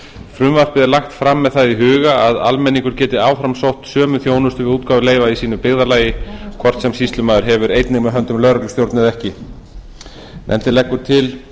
frumvarpið er lagt fram með það í huga að almenningur geti áfram sótt sömu þjónustu við útgáfu leyfa í sínu byggðarlagi hvort sem sýslumaður hefur einnig með höndum lögreglustjórn eða ekki nefndin leggur til